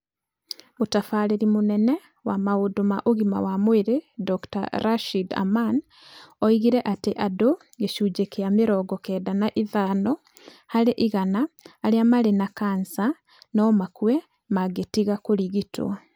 Mũtabarĩri mũnene wa maũndũ ma ũgima wa mwĩrĩ Dr. Rashid Aman oigire atĩ andũ gĩcunjĩ kĩa mĩrongo kenda na ithano harĩ igana arĩa marĩ na Kala-Azar no makue mangĩtiga kũrigitwo.